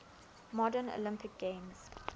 modern olympic games